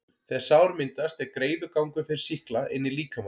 þegar sár myndast, er greiður gangur fyrir sýkla inn í líkamann.